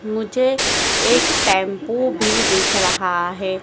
मुझे एक टेंपो भी दिख रहा है।